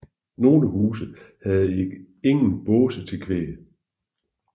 Nogle huse havde ingen båse til kvæg